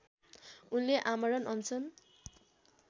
उनले आमरण अनसन